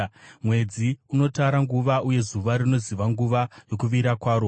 Mwedzi unotara nguva, uye zuva rinoziva nguva yokuvira kwaro.